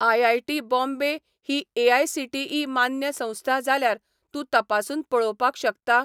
IIT .बाँबे ही AICTE मान्य संस्था जाल्यार तूं तपासून पळोवपाक शकता?